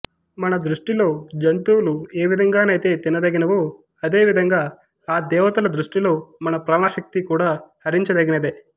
మన దృష్టిలో జంతువులు ఏ విధంగానైతే తినదగినవో అదే విధంగా ఆ దేవతల దృష్టిలో మన ప్రాణశక్తి కూడా హరించదగినదే